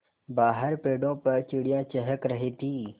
बाहर पेड़ों पर चिड़ियाँ चहक रही थीं